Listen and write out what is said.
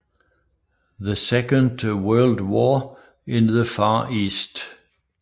The Second World War in the Far East